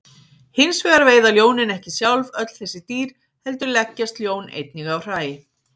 Hins vegar veiða ljónin ekki sjálf öll þessi dýr heldur leggjast ljón einnig á hræ.